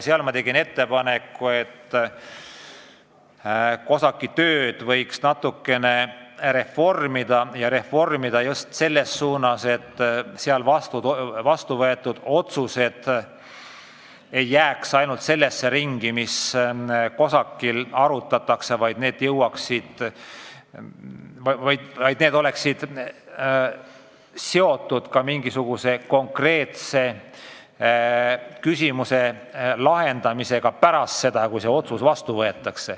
Seal ma tegin ettepaneku, et COSAC-i tööd võiks natukene reformida, ja reformida just selles suunas, et seal vastu võetud otsused ei jääks ainult sellesse ringi, vaid need oleksid seotud ka mingisuguse konkreetse küsimuse lahendamisega pärast seda, kui teatud otsus vastu võetakse.